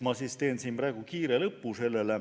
Ma teen praegu kiire lõpu.